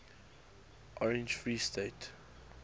orange free state